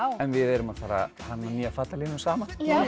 en við erum að fara að hanna nýja fatalínu saman